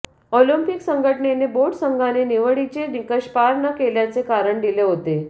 Olympic संघटनेने boat संघाने निवडीचे निकष पार न केल्याचे कारण दिले होते